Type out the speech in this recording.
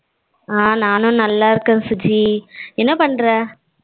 ஆ நானும் நல்லா இருக்கேன் சுஜி என்ன பண்ற?